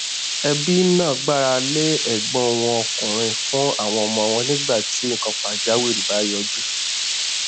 ẹbí náà gbára lé ẹgbọn wọn ọkùnrin fún àwọn ọmọ wọn nígbà tí nnkan pàjáwìrì bá yọjú